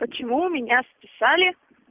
почему у меня списали